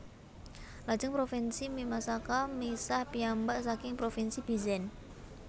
Lajeng Provinsi Mimasaka misah piyambak saking Provinsi Bizen